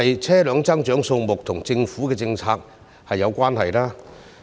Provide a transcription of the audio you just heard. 車輛增長的數目是否與政府的政策有關呢？